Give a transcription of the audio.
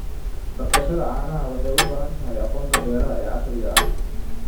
Dhaqashada caanaha waxay u baahan tahay aqoonta beeraha ee casriga ah.